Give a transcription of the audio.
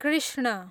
Krishna